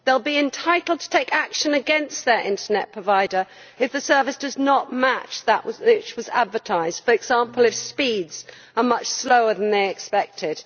They will be entitled to take action against their internet provider if the service does not match that which was advertised, for example if speeds are much slower than they expected.